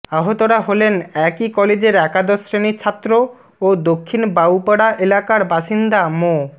আহতরা হলেন একই কলেজের একাদশ শ্রেণির ছাত্র ও দক্ষিণ বাউপাড়া এলাকার বাসিন্দা মো